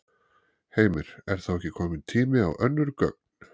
Heimir: Er þá ekki kominn tími á önnur gögn?